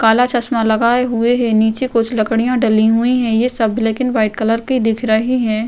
काला चश्मा लगे हुए है। नीचे कुछ लकड़ियाँ डली हुई हैं। ये सब ब्लैक एण्ड व्हाइट कलर की दिख रही हैं।